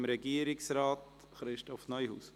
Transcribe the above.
Ich gebe Regierungsrat Christoph Neuhaus das Wort.